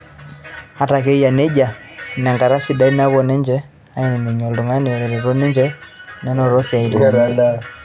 Ata ake eyia nejia, ina enkata e siadi naapuo ninje aaningie toltungani otareto ninje menoto isiatin enye.